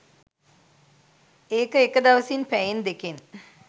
ඒක එක දවසින් පැයෙන් දෙකෙන්